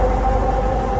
Həyyə ələl-fəlah.